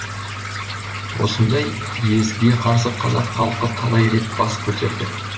осындай езгіге қарсы қазақ халқы талай рет бас көтерді